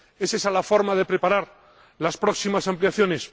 ¿Es esa la forma de preparar las próximas ampliaciones?